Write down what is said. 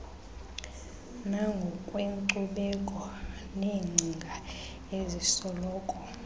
nangokwenkcubeko neengcinga ezisoloko